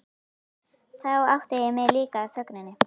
Þá áttaði ég mig líka á þögninni.